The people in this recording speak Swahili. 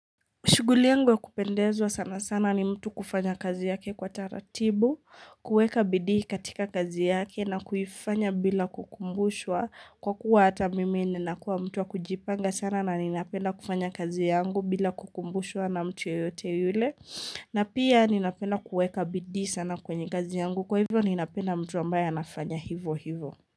Shuguli yangu wa kupendezwa sana sana ni mtu kufanya kazi yake kwa taratibu, kuweka bidii katika kazi yake na kuifanya bila kukumbushwa. Kwa kuwa hata mimi ninakua mtu wa kujipanga sana na ninapenda kufanya kazi yangu bila kukumbushwa na mtu yeyote yule. Na pia ninapenda kuweka bidii sana kwenye kazi yangu. Kwa hivyo ninapenda mtu ambaye anafanya hivo hivo.